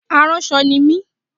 Aránṣọ ni mí